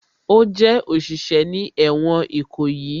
Ó jẹ́ òṣìṣẹ́ ní ẹ̀wọ̀n Ìkòyí